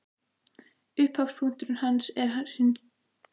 Upphafspunktur hans er hin góða reynsla af kynlífi.